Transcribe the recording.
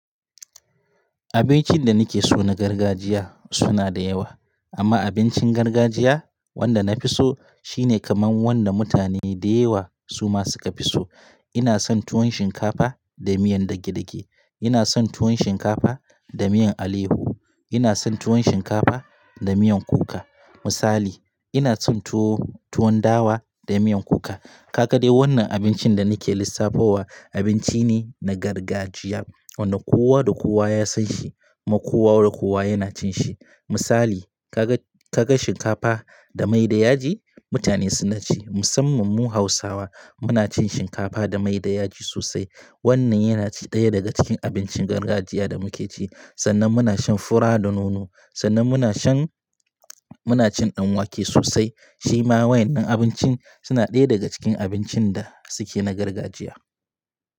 Abincin da ni ke so na gargajiya suna da yawa. Amma abincin gargajiya wanda na fi so shine kamar wanda mutane dayawa su ma suka fi so. Ina son tuwon shinkafa da miyan dage-dage. Ina son tuwon shinkafa da miyan alefo. Ina son tuwon shinkafa da miyan kuka. Misali, ina son tuwo, tuwon dawa da miyan kuka. Ka ga dai wannan abincin da ni ke lissafa wa abinci ne na gargajiya wanda kowa da kowa ya san shi ma kowa da kowa yana cin shi. Misali, ka ga, ka ga shinkafa da mai da yaji mutane suna ci. Musamman mu Hausawa muna cin shinkafa da mai da yaji sosai. Wannan yana ci ɗaya daga cikin abincin gargajiya da muke ci. Sannan muna shan fura da nono. Sannan muna shan, muna cin ɗan wake sosai. Shi ma waɗannan abincin suna ɗaya daga cikin abincin da su ke na gargajiya.